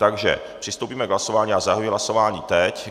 Takže přistoupíme k hlasování a zahajuji hlasování teď.